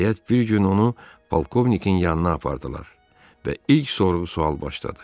Nəhayət, bir gün onu polkovnikin yanına apardılar və ilk sorğu-sual başladı.